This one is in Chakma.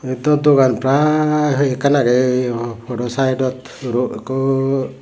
eyot do dukan pry hoiekan awgee ey podo saaidot ro ekko oo.